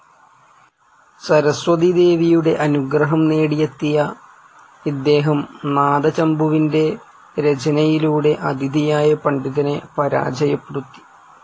സരസ്വതീദേവിയുടെ അനുഗ്രഹം നേടിയെത്തിയ ഇദ്ദേഹം നാദചമ്പുവിൻ്റെ രചനയിലൂടെ അതിഥിയായ പണ്ഡിതനെ പരാജയപ്പെടുത്തി.